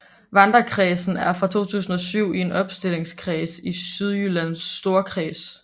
Vardekredsen er fra 2007 en opstillingskreds i Sydjyllands Storkreds